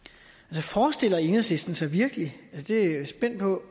forestiller enhedslisten sig virkelig det er jeg spændt på